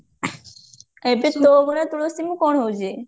ଏବେ ତୋ ଅଗଣାର ତୁଳସୀ ମୁଁ କଣ ହଉଛି?